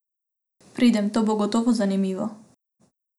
Pridem, to bo gotovo zanimivo.